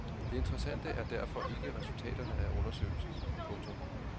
Det interessante er derfor ikke resultaterne af undersøgelsen. punktum